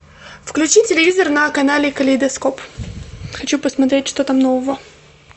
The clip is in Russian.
включи телевизор на канале калейдоскоп хочу посмотреть что там нового